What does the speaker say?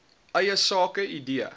eie sake idee